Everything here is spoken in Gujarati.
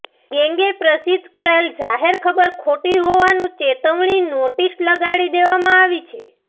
ગેંગે પ્રસિધ્ધ કરેલ જાહેર ખબર ખોટી હોવાનું ચેતવણી નોટીસ લગાડી દેવામાં આવી છે